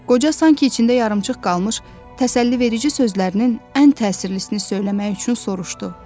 Qoca sanki içində yarımçıq qalmış təsəlliverici sözlərinin ən təsirlisini söyləmək üçün soruşdu: